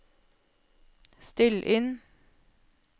still inn